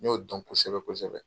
N y'o dɔn kosɛbɛ kosɛbɛ .